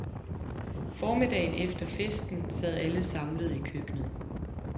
Formiddagen efter festen sad alle samlede i køkkenet.